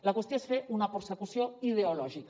la qüestió és fer una persecució ideològica